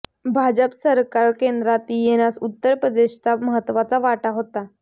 भाजप सरकार केंद्रात येण्यास उत्तर प्रदेशचा महत्वाचा वाटा होता